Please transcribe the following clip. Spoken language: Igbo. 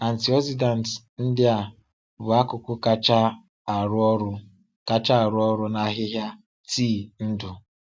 Antioxidants ndị a bụ akụkụ kacha arụ ọrụ kacha arụ ọrụ n’ahịhịa tii ndụ.